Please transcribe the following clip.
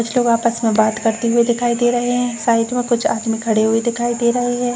कुछ लोग आपस में बात करते हुए दिखाई दे रहे हैं। साइड में कुछ आदमी खड़े हुए दिखाई दे रहे हैं।